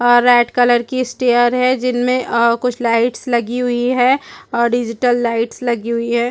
आ red colour की stair है जिनमें कुछ लाइट्स लगी हुई है और डिजिटल लाइट्स लगी हुई है।